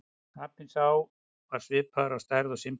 Apinn sá var svipaður að stærð og simpansi.